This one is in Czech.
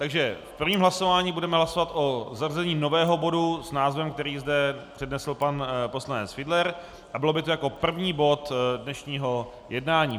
Takže v prvním hlasování budeme hlasovat o zařazení nového bodu s názvem, který zde přednesl pan poslanec Fiedler, a bylo by to jako první bod dnešního jednání.